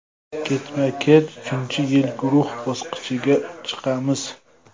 Ketma-ket uchinchi yil guruh bosqichiga chiqamiz.